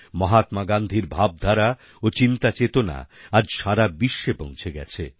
মহাত্মা গান্ধীর ভাবধারা ও চিন্তাচেতনা আজ সারা বিশ্বে পৌঁছে গেছে